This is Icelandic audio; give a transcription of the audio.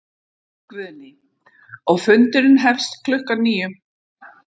Guðný: Og fundurinn hefst klukkan níu?